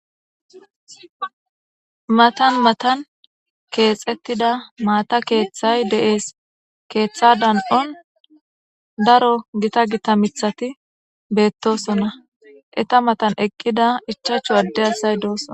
matan matan keexettida maata keeththay de7ees keeththa dan7on daro gita gita mithati beettosona eta matan eqqida ichachu adde asay doosson